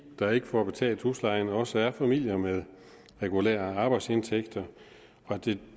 der ikke får betalt huslejen også er familier med regulære arbejdsindtægter og det